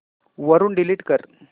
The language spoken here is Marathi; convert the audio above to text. वरून डिलीट कर